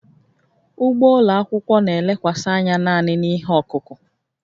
Ugbo ụlọ akwụkwọ na-elekwasị anya naanị na ihe ọkụkụ